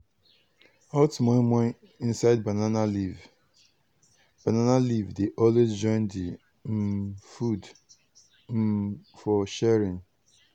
hot moimoi inside banana leaf banana leaf dey always join the um food um for sharing.